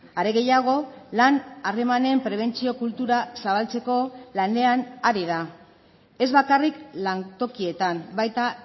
are gehiago lan harremanen prebentzio kultura zabaltzeko lanean ari da ez bakarrik lantokietan baita